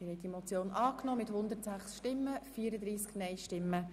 Sie haben diese Motion angenommen.